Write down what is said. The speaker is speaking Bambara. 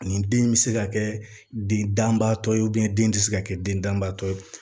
Nin den in bɛ se ka kɛ den danbaatɔ ye den tɛ se ka kɛ den danbaatɔ ye